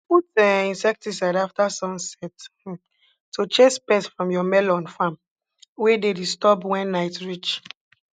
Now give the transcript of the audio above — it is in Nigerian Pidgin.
put um insecticides afta sunset um to chase pests from your melon farm wey dey disturb wen night reach